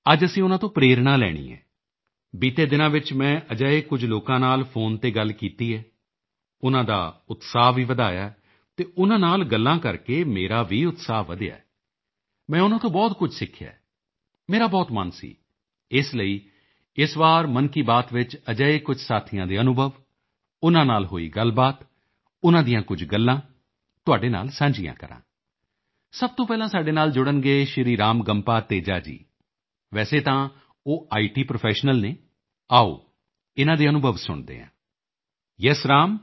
ਅੱਜ ਅਸੀਂ ਉਨ੍ਹਾਂ ਤੋਂ ਪ੍ਰੇਰਣਾ ਲੈਣੀ ਹੈ ਬੀਤੇ ਦਿਨਾਂ ਵਿੱਚ ਮੈਂ ਅਜਿਹੇ ਕੁਝ ਲੋਕਾਂ ਨਾਲ ਫ਼ੋਨ ਤੇ ਗੱਲ ਕੀਤੀ ਹੈ ਉਨ੍ਹਾਂ ਦਾ ਉਤਸ਼ਾਹ ਵੀ ਵਧਾਇਆ ਹੈ ਅਤੇ ਉਨ੍ਹਾਂ ਨਾਲ ਗੱਲਾਂ ਕਰਕੇ ਮੇਰਾ ਵੀ ਉਤਸ਼ਾਹ ਵਧਿਆ ਹੈ ਮੈਂ ਉਨ੍ਹਾਂ ਤੋਂ ਬਹੁਤ ਕੁਝ ਸਿੱਖਿਆ ਹੈ ਮੇਰਾ ਬਹੁਤ ਮਨ ਸੀ ਇਸ ਲਈ ਇਸ ਵਾਰ ਮਨ ਕੀ ਬਾਤ ਵਿੱਚ ਅਜਿਹੇ ਕੁਝ ਸਾਥੀਆਂ ਦੇ ਅਨੁਭਵ ਉਨ੍ਹਾਂ ਨਾਲ ਹੋਈ ਗੱਲਬਾਤ ਉਨ੍ਹਾਂ ਦੀਆਂ ਕੁਝ ਗੱਲਾਂ ਤੁਹਾਡੇ ਨਾਲ ਸਾਂਝੀਆਂ ਕਰਾਂ ਸਭ ਤੋਂ ਪਹਿਲਾਂ ਸਾਡੇ ਨਾਲ ਜੁੜਨਗੇ ਸ਼੍ਰੀ ਰਾਮਗੰਪਾ ਤੇਜਾ ਜੀ ਵੈਸੇ ਤਾਂ ਉਹ ਇਤ ਪ੍ਰੋਫੈਸ਼ਨਲ ਨੇ ਆਓ ਇਨ੍ਹਾਂ ਦੇ ਅਨੁਭਵ ਸੁਣਦੇ ਹਾਂ ਯੇਸ ਰਾਮ